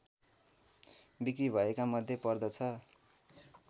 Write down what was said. बिक्री भएकामध्ये पर्दछ